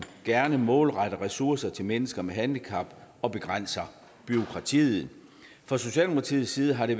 gerne målretter ressourcer til mennesker med handicap og begrænser bureaukratiet fra socialdemokratiets side har det